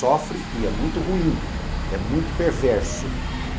Sofre e é muito ruim, é muito perverso.